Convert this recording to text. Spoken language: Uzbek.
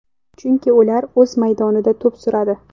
Chunki ular o‘z maydonida to‘p suradi.